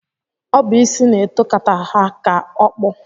Ọ bụ isi na-eto kata ha ka okpu.